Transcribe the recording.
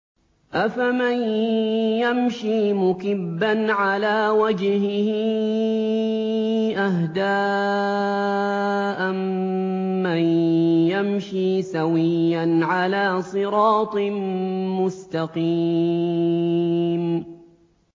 أَفَمَن يَمْشِي مُكِبًّا عَلَىٰ وَجْهِهِ أَهْدَىٰ أَمَّن يَمْشِي سَوِيًّا عَلَىٰ صِرَاطٍ مُّسْتَقِيمٍ